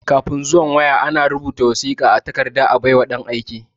Kafin zuwan waya,a na rubuta wasiƙa a takarda a bai wa ɗan aika.